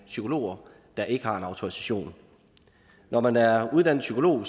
psykologer der ikke har en autorisation når man er uddannet psykolog